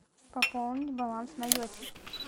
пополнить баланс на йоте